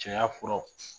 Cɛya furaw